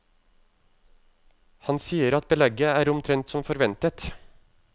Han sier at belegget er omtrent som forventet.